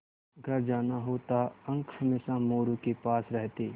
घर जाना होता अंक हमेशा मोरू के पास रहते